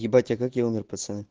ебать а как я умер пацаны